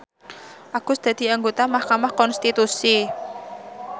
Agus dadi anggota mahkamah konstitusi